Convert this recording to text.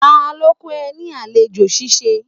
Ta ló kọ ẹ ní àlejò ṣíṣe?